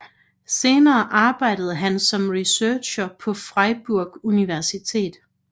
Senere arbejdede han som researcher på Freiburg Universitet